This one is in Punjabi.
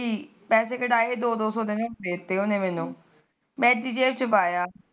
ਪੈਸੇ ਕਢਾਏ ਦੋ ਦੋ ਸੋ ਦੇਤੇ ਉਹਨੇ ਮੈਨੂੰ ਮੈ ਐਦੀ ਜੈਬ ਚ ਪਾਇਆ